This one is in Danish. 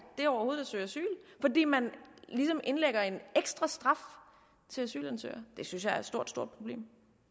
det overhovedet at søge asyl fordi man ligesom indlægger en ekstra straf til asylansøgere det synes jeg altså er et stort stort problem